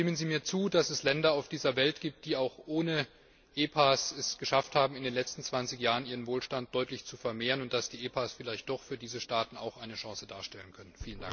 Stimmen Sie mir zu, dass es Länder auf dieser Welt gibt, die es auch ohne WPA geschafft haben, in den letzten 20 Jahren ihren Wohlstand deutlich zu vermehren, und dass die WPA vielleicht doch auch für diese Staaten eine Chance darstellen können?